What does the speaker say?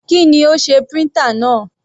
Kí ni ó sé printer náà?